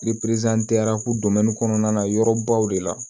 kɔnɔna na yɔrɔbaw de la